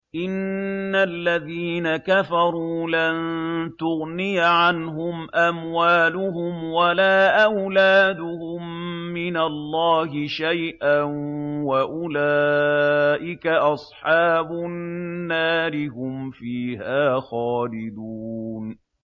إِنَّ الَّذِينَ كَفَرُوا لَن تُغْنِيَ عَنْهُمْ أَمْوَالُهُمْ وَلَا أَوْلَادُهُم مِّنَ اللَّهِ شَيْئًا ۖ وَأُولَٰئِكَ أَصْحَابُ النَّارِ ۚ هُمْ فِيهَا خَالِدُونَ